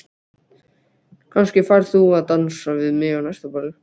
Kannski færð þú að dansa við mig á næsta balli